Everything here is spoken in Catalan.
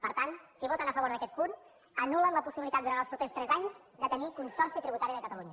per tant si voten a favor d’aquest punt anul·len la possibilitat durant els propers tres anys de tenir consorci tributari de catalunya